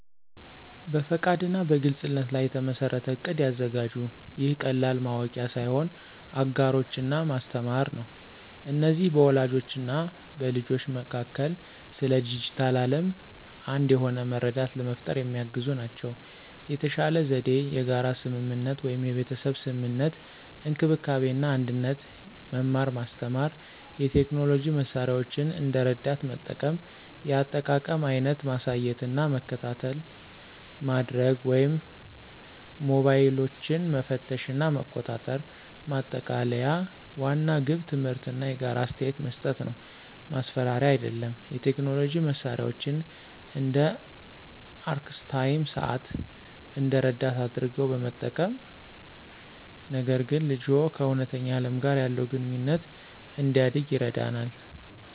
በፈቃድ እና በግልፅነት ላይ የተመሠረተ እቅድ ያዘጋጁ። ይህ ቀላል ማወቂያ ሳይሆን አጋሮች እና ማስተማር ነው። እነዚህ በወላጆች እና በልጆች መካከል ስለ ዲጂታል ዓለም አንድ የሆነ መረዳት ለመፍጠር የሚያግዙ ናቸው። የተሻለ ዘዴ የጋራ ስምምነት (የቤተሰብ ስምምነት፣ እንክብካቤ እና አንድነት፣ መማር ማስተማር፣ የቴክኖሎጂ መሳሪያዎችን እንደ ረዳት መጠቀም፣ የአጠቃቀም አይነት ማሳየት እና መከታተይ ማድርግ ወይም ሞባይሎችን መፈተሽ እና መቆጣጠር። ማጠቃለያ ዋናው ግብ ትምህርት እና የጋራ አስተያየት መስጠት ነው፣ ማስፈራሪያ አይደለም። የቴክኖሎጂ መሳሪያዎችን (እንደ አርክስታይም ሰዓት) እንደ ረዳት አድርገው በመጠቀም፣ ነገር ግን ልጅዎ ከእውነተኛ ዓለም ጋር ያለውን ግንኙነት እንዲያደርግ ይረዳናል።